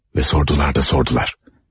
Və sordular da sordular.